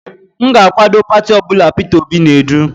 M ga-akwado pati ọ bụla Peter Obi na-edu.